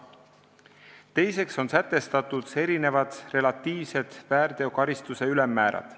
Teiseks on sätestatud erinevad relatiivsed väärteokaristuse ülemmäärad.